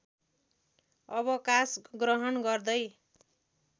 अवकाश ग्रहण गर्दै